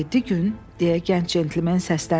Yeddi gün, deyə gənc centlmen səsləndi.